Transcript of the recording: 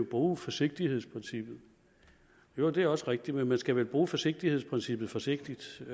bruge forsigtighedsprincippet jo det er også rigtigt men man skal vel bruge forsigtighedsprincippet forsigtigt